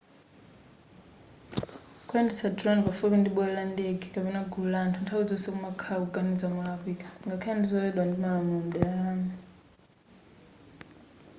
kuyendetsa dironi pafupi ndi bwalo la ndege kapena pagulu la anthu nthawi zonse kumakhala kuganiza molakwika ngakhale ndizololedwa ndi malamulo mdera lanu